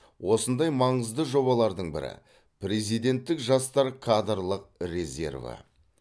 осындай маңызды жобалардың бірі президенттік жастар кадрлық резерві